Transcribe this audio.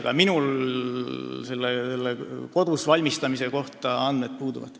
Aga minul niisuguse kodus valmistamise kohta andmed puuduvad.